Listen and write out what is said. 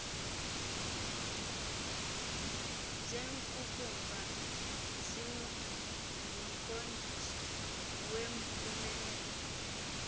zengqukuva zingumqondiso wempumelelo